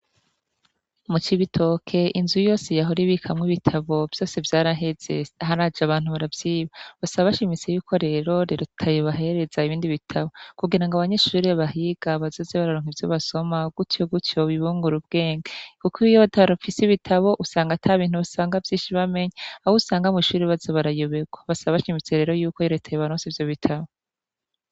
Mu cibitoke inzu yose yahora ibikamwo ibitabo vyose vyaraheze ahar aje abantu baravyiba basa bashimise yuko rero riratayebahereza ibindi bitabo kugira ngo abanyishuri bahiga bazoze bararonka ivyo basoma gutyo guto bibunga ura ubwenge, kuko iwiyo batarofisi bitabo usanga ata bintu basanga vyinshi bamenya awusa ngamushiri bazo barayoberwa basa baca imitserero yuko reteye baronse ivyo bitahe.